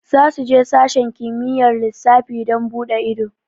Za su je sashen kimiyyar lissafi don buɗe ido